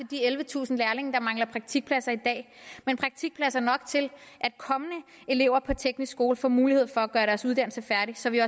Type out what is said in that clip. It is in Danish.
de ellevetusind lærlinge der mangler praktikplads i dag men praktikpladser nok til at kommende elever på teknisk skole får mulighed for at gøre deres uddannelse færdig så vi